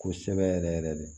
Kosɛbɛ yɛrɛ yɛrɛ de